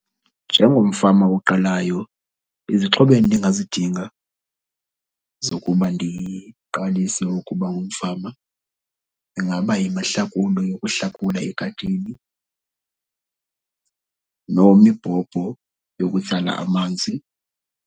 Njengomfama oqalayo, izixhobo endingazidinga zokuba ndiqalise ukuba ngumfama ingaba yimihlakulo yokuhlakula egadini nemibhobho yokutsala amanzi.